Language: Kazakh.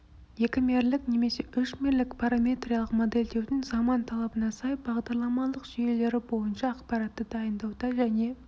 екімерлік және үшмерлік параметриялық модельдеудің заман талабына сай бағдарламалық жүйелері бойынша ақпаратты дайындауда және